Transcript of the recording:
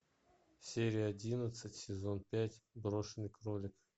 серия одиннадцать сезон пять брошенный кролик